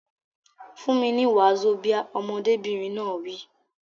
Fún mi ní wazobia! Ọmọdébìnrin náà wí.